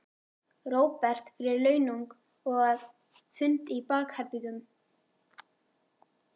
Róbert: Fyrir launung og að, fundi í bakherbergjum?